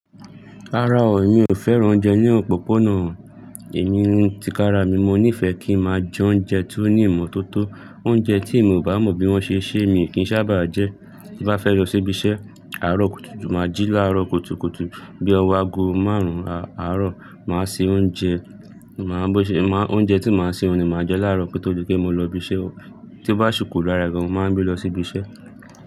Rárá o, mi ò fẹ́ràn oúnjẹ ní òpópónà. Èmi, ní ti kára mi, mo nífẹ̀ẹ́ kí máa jẹ oúnjẹ tó ní ìmọ́tótó. Oúnjẹ tí emi o bá mọ bí wón ṣe, ṣe mi kì í sábà jẹ. Tí bá fẹ́ lọ síbi iṣẹ́, àárọ̀ kùtùkùtù máa jí láàárọ̀ kùtùkùtù bí ọwọ́ aago márùn-ún àárọ̀, màá se oúnjẹ, oúnjẹ tí màá sè ni màá jẹ láàárọ̀ kotọ́ di pe mo lọ ibi iṣẹ́. To bá ṣikú lára e gan, mo máa n gbé lọ sí ibi iṣẹ́.